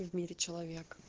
в мире человек